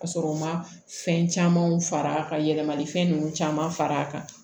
Ka sɔrɔ u ma fɛn camanw far'a kan ka yɛlɛma ni fɛn ninnu caman far'a kan